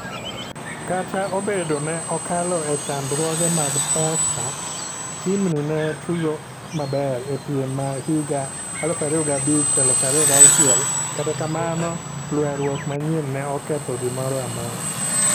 Kata obedo ne okalo e chandruoge mag pesa ,tim ni ne tugo maber e piem ma higa 2005-2006 katakamano lweruok manyien ne oketho gimoro a mora.